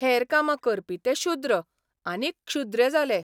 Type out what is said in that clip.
हेर कामां करपी ते शुद्र, आनी क्षुद्र्य जाले.